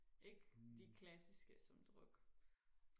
ikke de klassiske som druk